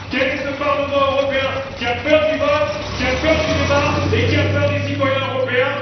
Quel est ce Parlement européen qui a peur du vote, qui a peur du débat et qui a peur des citoyens européens?